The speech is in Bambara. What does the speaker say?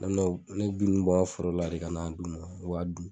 Ne bɛ na ne bɛ bin nun bɔ n ka foro la de ka n'a d'u ma o b'a dun.